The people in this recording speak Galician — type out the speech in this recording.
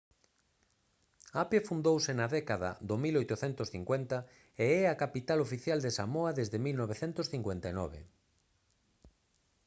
apia fundouse na década do 1850 e é a capital oficial de samoa desde 1959